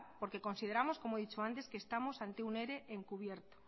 porque consideramos que estamos ante un ere encubierto